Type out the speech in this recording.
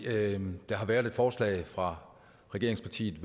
der har været et forslag fra regeringspartiet